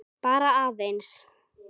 Bara aðeins.